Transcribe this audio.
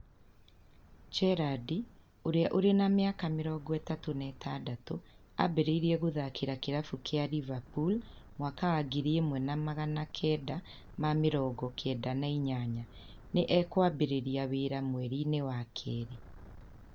Gerrard, ũrĩa ũrĩ na mĩaka mĩrongo ĩtatũ na ithathatũ, ambĩrĩirie gũthaakĩra kĩrabu kia Liverpool mwaka wa ngiri ĩmwe na magana kenda ma mĩrongo kenda na inyanya, nĩ egũambĩrĩria wĩra mweri-inĩ wa Keerĩ.